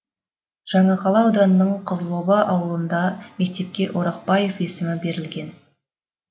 жаңақала ауданының қызылоба ауылындағы мектепке орақбаев есімі берілген